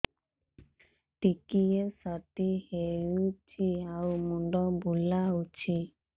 ଟିକିଏ ସର୍ଦ୍ଦି ହେଇଚି ଆଉ ମୁଣ୍ଡ ବୁଲାଉଛି